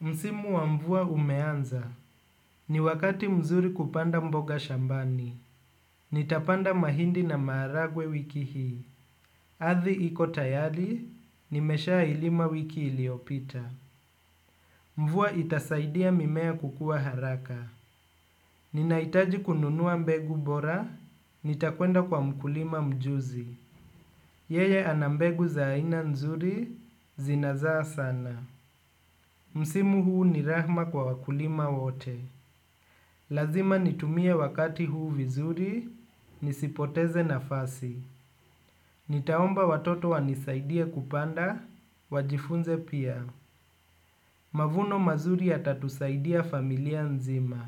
Msimu wa mvua umeanza. Ni wakati mzuri kupanda mboga shambani. Nitapanda mahindi na maharagwe wiki hii. Adhi iko tayali, nimeshailima wiki iliopita. Mvua itasaidia mimea kukua haraka. Ninaitaji kununua mbegu bora, nitakwenda kwa mkulima mjuzi. Yeye ana mbegu za aina nzuri, zinazaa sana. Msimu huu ni rahma kwa wakulima wote. Lazima nitumie wakati huu vizuri, nisipoteze nafasi. Nitaomba watoto wanisaidie kupanda, wajifunze pia. Mavuno mazuri yatatusaidia familia nzima.